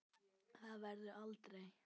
Það verður aldrei.